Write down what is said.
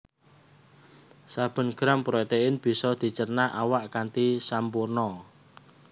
Saben gram protéin bisa dicerna awak kanthi sampurna